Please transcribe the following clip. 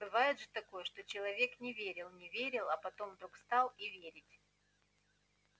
бывает же такое что человек не верил не верил а потом вдруг стал и верить